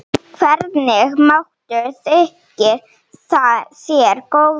Hvernig matur þykir þér góður?